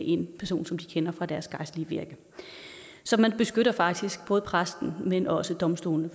en person som de kender fra deres gejstlige virke så man beskytter faktisk både præsten men også domstolene